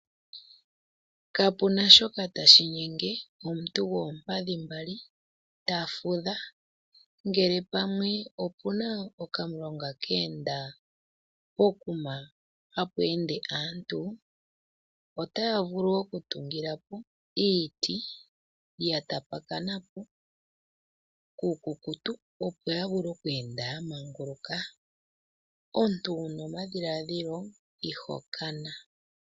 Kapu na shoka tashi nyenge omuntu gwoompadhi mbali ta fudha . Ngele ope na okamulonga keenda pokuma hapu ende aantu otaya vulu okutungila po iiti ya tapakana po iikukutu opo ya vule okweenda po ya manguluka .Omuntu wu na omadhiladhilo iho kana.